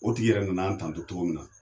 O tigi yɛrɛ na na an tanto cogo min na.